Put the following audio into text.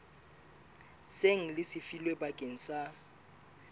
seng le lefilwe bakeng sa